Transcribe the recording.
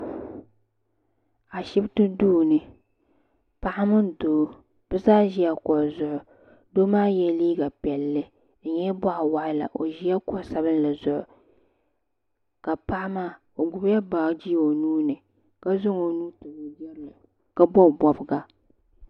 Ashipti duuni paɣa mini doo bɛ zaa ʒila kuɣu zuɣu doo maa yela liiga piɛlli di nyɛla boɣawaɣala o ʒila kuɣu'sabinli zuɣu ka paɣa maa o gbibila baaji o nuuni ka zaŋ o nuu tabi o jirili ka bobi bobga.